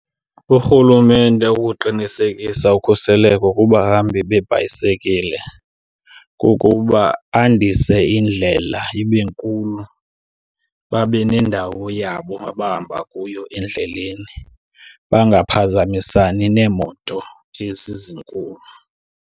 Urhulumente ukuqinisekisa ukhuseleko kubahambi beebhayisekile kukuba andise indlela ibe nkulu babe nendawo yabo abahamba kuyo endleleni. Bangaphazamisani neemoto ezi zinkulu.